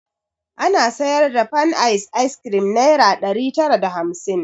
Ana sayar da fanice ayis kirim nayra ɗari tara da hamsin